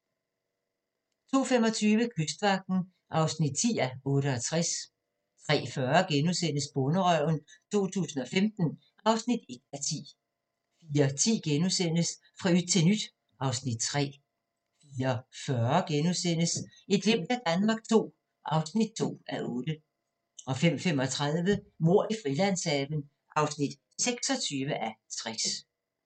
02:25: Kystvagten (10:68) 03:40: Bonderøven 2015 (1:10)* 04:10: Fra yt til nyt (Afs. 3)* 04:40: Et glimt af Danmark II (2:8)* 05:35: Mord i Frilandshaven (26:60)